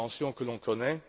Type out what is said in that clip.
que l'on connaît.